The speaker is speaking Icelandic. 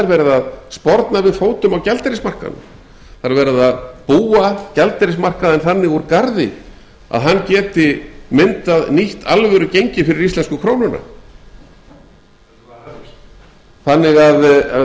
verið að sporna við fótum á gjaldeyrismarkaðnum það er verið að búa gjaldeyrismarkaðinn þannig úr garði að hann geti myndað nýtt alvöru gengi fyrir íslensku krónuna þannig að